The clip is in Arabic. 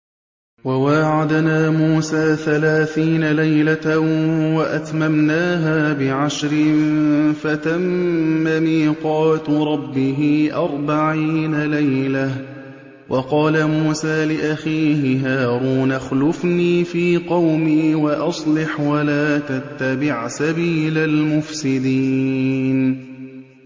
۞ وَوَاعَدْنَا مُوسَىٰ ثَلَاثِينَ لَيْلَةً وَأَتْمَمْنَاهَا بِعَشْرٍ فَتَمَّ مِيقَاتُ رَبِّهِ أَرْبَعِينَ لَيْلَةً ۚ وَقَالَ مُوسَىٰ لِأَخِيهِ هَارُونَ اخْلُفْنِي فِي قَوْمِي وَأَصْلِحْ وَلَا تَتَّبِعْ سَبِيلَ الْمُفْسِدِينَ